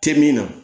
Tɛ min na